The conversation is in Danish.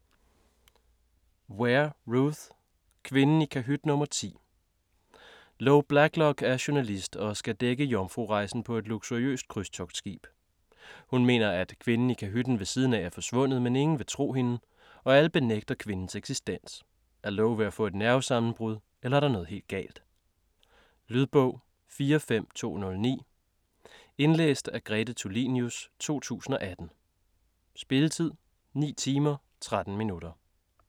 Ware, Ruth: Kvinden i kahyt nr. 10 Lo Blacklock er journalist og skal dække jomfrurejsen på et luksuriøst krydstogtskib. Hun mener, at kvinden i kahytten ved siden er forsvundet, men ingen vil tro hende, og alle benægter kvindens eksistens. Er Lo ved at få et nervesammenbrud, eller er der noget helt galt? Lydbog 45209 Indlæst af Grete Tulinius, 2018. Spilletid: 9 timer, 13 minutter.